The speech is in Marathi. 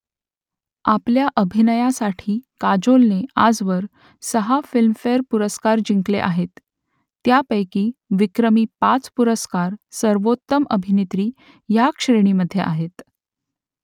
आपल्या अभिनयासाठी काजोलने आजवर सहा फिल्मफेअर पुरस्कार जिंकले आहेत . त्यांपैकी विक्रमी पाच पुरस्कार सर्वोत्तम अभिनेत्री ह्या श्रेणीमध्ये आहेत